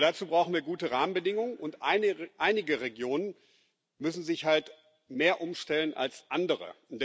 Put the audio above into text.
Aber dazu brauchen wir gute Rahmenbedingungen, und einige Regionen müssen sich halt mehr umstellen als andere.